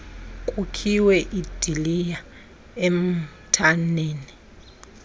kukhiwe iidiliya emithaneni